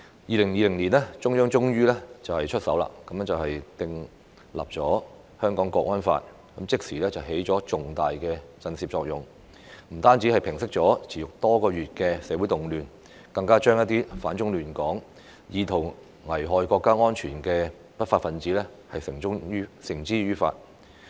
2020年，中央政府終於出手訂立《香港國安法》，即時起了重大的震懾作用，不但平息了持續多月的社會動亂，更將一些反中亂港、意圖危害國家安全的不法分子繩之於法。